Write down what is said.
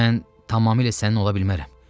Mən tamamilə sənin ola bilmərəm.